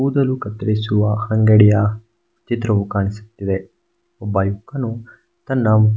ಕೂದಲು ಕತ್ತರಿಸುವ ಅಂಗಡಿಯ ಚಿತ್ರವು ಕಾಣಿಸುತ್ತಿದೆ ಒಬ್ಬ ಯುವಕನು ತನ್ನ--